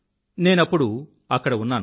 నేనప్పుడు అక్కడ ఉన్నాను